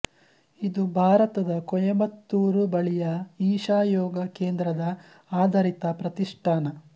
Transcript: ಇದು ಭಾರತದ ಕೊಯಮತ್ತೂರು ಬಳಿಯ ಈಶಾ ಯೋಗ ಕೇಂದ್ರದ ಆಧರಿತ ಪ್ರತಿಷ್ಠಾನ